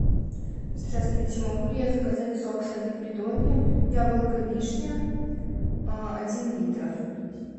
здравствуйте могу ли я заказать сок сады придонья яблоко вишня один литр